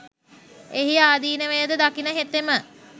එහි ආදීනවය ද දකින හෙතෙම